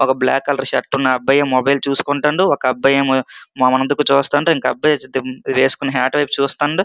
ఒక black colour shirt ఉన్న అబ్బాయి మొబైల్ చూసుకుంటున్నారు ఒక అబ్బాయి మన ముందు చూస్తున్నాడు ఒక అబ్బాయి వేసుకున్న హాట్ వైపు చూస్తున్నాడు.